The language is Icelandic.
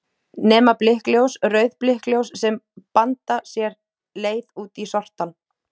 Nema blikkljós, rauð blikkljós sem banda sér leið út í sortann.